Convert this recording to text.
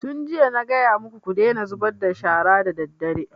Tun jiya na gaya maku ku daina zubar da shara daddare!